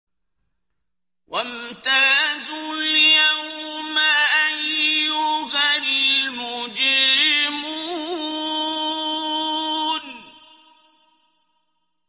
وَامْتَازُوا الْيَوْمَ أَيُّهَا الْمُجْرِمُونَ